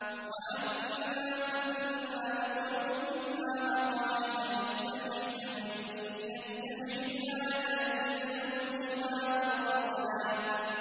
وَأَنَّا كُنَّا نَقْعُدُ مِنْهَا مَقَاعِدَ لِلسَّمْعِ ۖ فَمَن يَسْتَمِعِ الْآنَ يَجِدْ لَهُ شِهَابًا رَّصَدًا